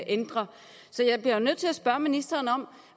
ændre så jeg bliver nødt til at spørge ministeren om